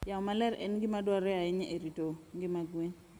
Yamo maler en gima dwarore ahinya e rito ngima gwen.